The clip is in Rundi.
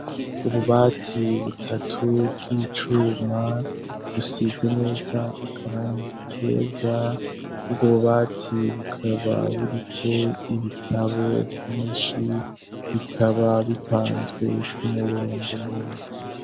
ububati butatu bw'icuma busize neza akarangi keza bw'ububati bukaba buriko ibitabo vyinshi bikaba bipanzwe k'umurongo neza